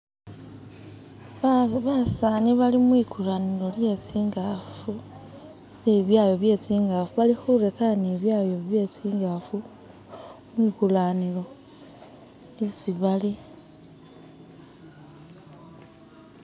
Basani bali mwikulanilo lye bibyayo bye tsi'ngafu bali khurekana bibyayo bye tsi'ngafu mwikulanilo isibali.